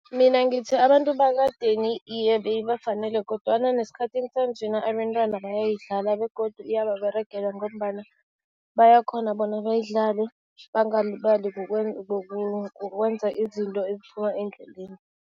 Mina ngithi, abantu bekadeni iye beyibafanele kodwana nesikhathini sanjena abentwana bayayidlala begodu iyababeregela ngombana bayakghona bona bayidlale, bangalibali kukwenza izinto eziphuma endleleni.